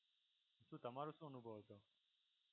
શું તમારો શું અનુભવ છે?